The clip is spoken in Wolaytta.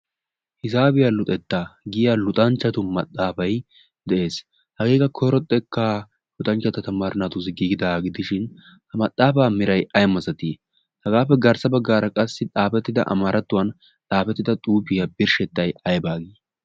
hizaafiyaa luxettaa giya luxanchchatu maxaafai de'ees. hageeka koro xekka huxanchchatta tamaarinatu ziggigidaagidishin ha maxaafaa mirai aiammazatii hagaappe garssa baggaara qassi xaafettida amaarattuwan xaafettida xuufiyaa birshshettai aibaagii?